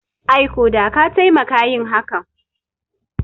Ai ko da ka taimaka yin hakan